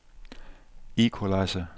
equalizer